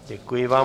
Děkuji vám.